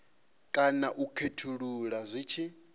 kana u khethulula zwi tshi